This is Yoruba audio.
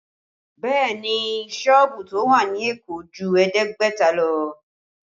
Bẹẹ ni, sọ́ọ̀bù tó wà ní Èkó ju ẹ̀ẹ́dẹ́gbẹ̀ta lọ